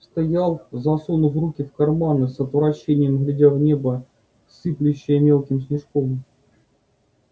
стоял засунув руки в карманы с отвращением глядя в небо сыплющее мелким снежком